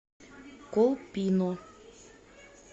колпино